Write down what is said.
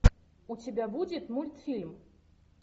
у тебя будет мультфильм